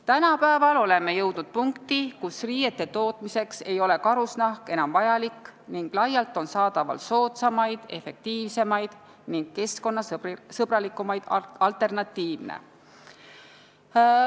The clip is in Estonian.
Tänapäeval oleme jõudnud punkti, kus riiete tootmiseks ei ole karusnahk enam vajalik ning laialt on saadaval soodsamaid, efektiivsemaid ning keskkonnasõbralikumaid alternatiive.